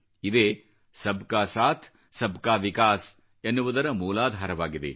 ಇದೇ ಸಬ್ ಕಾ ಸಾಥ್ ಸಬ್ ಕಾ ವಿಕಾಸ್ ಎನ್ನುವುದರ ಮೂಲಾಧಾರವಾಗಿದೆ